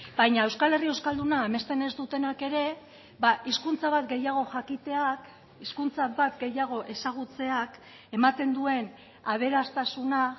baina euskal herri euskalduna amesten ez dutenak ere hizkuntza bat gehiago jakiteak hizkuntza bat gehiago ezagutzeak ematen duen aberastasuna